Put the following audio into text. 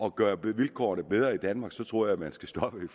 at gøre vilkårene bedre i danmark tror jeg man skal stoppe i